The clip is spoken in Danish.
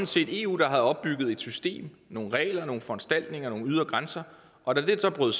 set eu der havde opbygget et system nogle regler nogle foranstaltninger nogle ydre grænser og da det stod